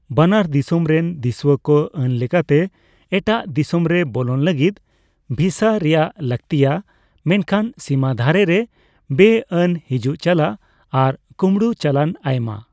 ᱵᱟᱱᱟᱨ ᱫᱤᱥᱚᱢ ᱨᱮᱱ ᱫᱤᱥᱩᱣᱟᱠᱚ ᱟᱹᱱ ᱞᱮᱠᱟᱛᱮ ᱮᱴᱟᱜ ᱫᱤᱥᱚᱢᱨᱮ ᱵᱚᱞᱚᱱ ᱞᱟᱹᱜᱤᱫ ᱵᱷᱤᱥᱟ ᱨᱮᱭᱟᱜ ᱞᱟᱹᱠᱛᱤᱜᱼᱟ ; ᱢᱮᱱᱠᱷᱟᱱ ᱥᱤᱢᱟᱹᱫᱷᱟᱨᱮᱨᱮ ᱵᱮᱼᱟᱹᱱ ᱦᱤᱡᱩᱜᱼᱪᱟᱞᱟᱜ ᱟᱨ ᱠᱩᱢᱵᱲᱩᱪᱟᱞᱟᱱ ᱟᱭᱢᱟ ᱾